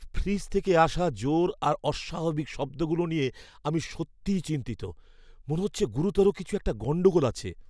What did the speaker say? Fridge থেকে আসা জোর আর অস্বাভাবিক শব্দগুলো নিয়ে আমি সত্যিই চিন্তিত, মনে হচ্ছে গুরুতর কিছু একটা গণ্ডগোল আছে।